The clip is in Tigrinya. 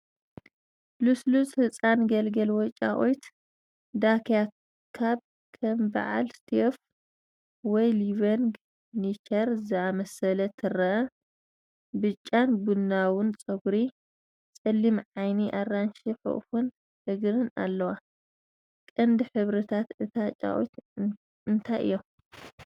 ልስሉስ ህጻን ግልግል ወይ ጫቑት ዳክያ ካብ ከም በዓል ስቴይፍ ወይ ሊቪንግ ኔቸር ዝኣመሰለ ትረአ። ብጫን ቡናውን ጸጉሪ፡ ጸሊም ዓይኒ፡ ኣራንሺ ሕቑፈን እግርን ኣለዋ። ቀንዲ ሕብርታት እታ ጫቑት እንታይ እዮም?